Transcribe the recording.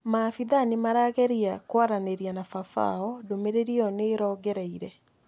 maabithaa nĩmarageria kwaranĩria na baba wao, ndũmĩrĩri iyo nĩĩrongereire